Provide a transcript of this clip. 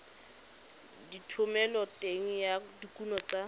le thomeloteng ya dikuno tsa